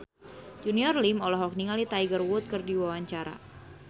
Junior Liem olohok ningali Tiger Wood keur diwawancara